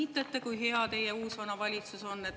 " Kiitlete, kui hea teie uus-vana valitsus on.